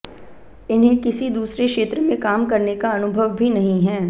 इन्हें किसी दूसरे क्षेत्र में काम करने का अनुभव भी नहीं है